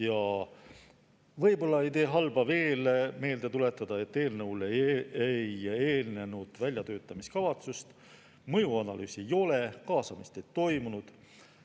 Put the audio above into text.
Ja võib-olla ei tee halba veel meelde tuletada, et eelnõule ei eelnenud väljatöötamiskavatsust, mõjuanalüüsi ei ole, kaasamist ei toimunud.